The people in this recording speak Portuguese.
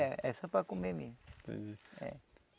É, é só para comer mesmo.